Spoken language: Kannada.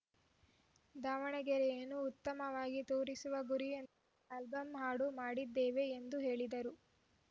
ದಾವಣಗೆರೆಯನ್ನು ಉತ್ತಮವಾಗಿ ತೋರಿಸುವ ಗುರಿಯೊ ಆಲ್ಬಂ ಹಾಡು ಮಾಡಿದ್ದೇವೆ ಎಂದು ಹೇಳಿದರು